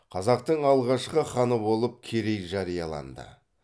қазақтың алғашқы ханы болып керей жарияланды